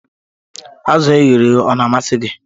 Azụ̀ e ghere eghe Ọ na-amasị gị?